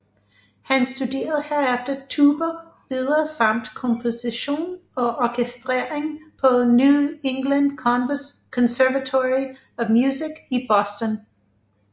Han studerede herefter tuba videre samt komposition og orkestrering på New England Conservatory of Music i Boston